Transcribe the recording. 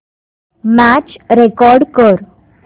match record कर